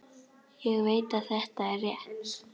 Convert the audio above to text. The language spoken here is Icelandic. Ég veit að þetta er rétt.